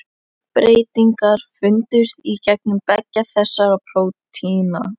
Stökkbreytingar fundust í genum beggja þessara prótína.